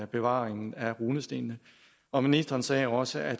bevaringen af runestenene og ministeren sagde også at